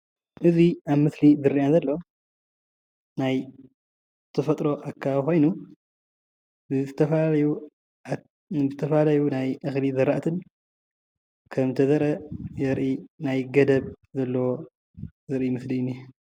እዚ ኣብ ምስሊ ዝርአየና ዘሎ ናይ ተፈጥሮ ኣከባቢ ኾይኑ ብዝተፈላለዩ ናይ እኽሊ ዝራእቲን ከምተዘርአ ዘርኢ ናይ ገደብ ዘለዎ ዘርኢ ምስሊ እዩ።